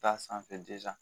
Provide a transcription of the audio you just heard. Taa sanfɛ